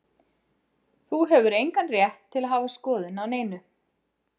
Þú hefur engan rétt til að hafa skoðun á neinu.